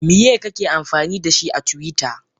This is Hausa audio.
Miye kake amfanidashi a twitter?